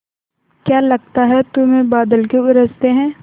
क्या लगता है तुम्हें बादल क्यों गरजते हैं